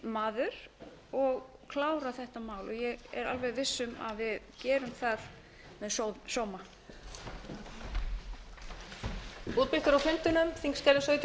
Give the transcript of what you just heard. maður og klára þetta mál ég er alveg viss um að við gerum það með sóma